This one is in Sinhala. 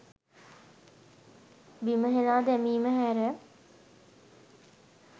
බිම හෙලා දැමීම හැර